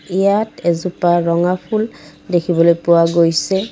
ইয়াত এজোপা ৰঙা ফুল দেখিবলৈ পোৱা গৈছে।